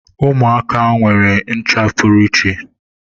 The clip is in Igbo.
Ụmụaka nwere ncha pụrụ iche.